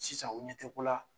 Sisan u ɲɛ te ko la